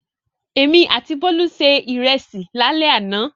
Èmi àti Bólú se ìrẹsì lálẹ́ àná.